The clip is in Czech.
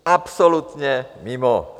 Absolutně mimo.